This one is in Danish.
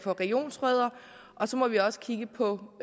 regionsrødder og så må vi også kigge på